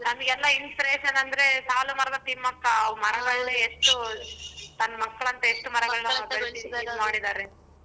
ನಮ್ಗೆಲ್ಲ inspiration ಅಂದ್ರೆ ಸಾಲು ಮರದ ತಿಮ್ಮಕ್ಕ ಮರಗಳನ್ನ ಎಷ್ಟು ತನ್ ಮಕ್ಕಳಂತೆ ಎಷ್ಟು ಮರಗಳನ್ನ ನೋಡಿದ್ದಾರೆ.